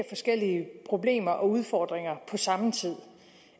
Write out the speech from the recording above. forskellige problemer og udfordringer på samme tid